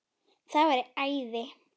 Það væri æði